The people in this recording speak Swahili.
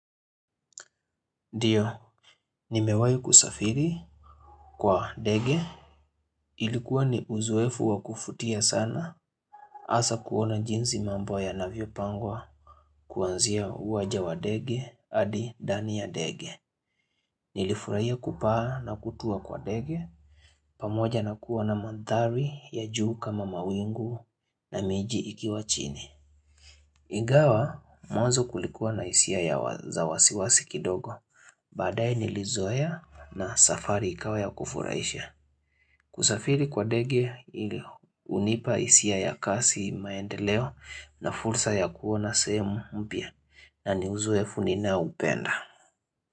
Ndio, nimewai kusafiri kwa ndege. Ilikuwa ni uzoefu wakufutia sana asa kuona jinzi mambo ya navio pangwa kuanzia uwaja wa dege adi dani ya dege. Nilifurahia kupaa na kutua kwa dege, pamoja na kuwa na mandhari ya juu kama mawingu na miji ikiwa chini. Ingawa mwanzo kulikuwa na isia ya wasiwasi kidogo badaye nilizoeya na safari ikawa ya kufuraisha kusafiri kwa dege unipa isia ya kasi maendeleo na fursa ya kuona sehemu mpya na niuzoe funina upenda.